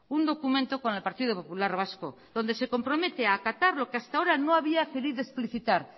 un documento con el partido popular vasco donde se compromete acatar lo que hasta ahora no había querido explicitar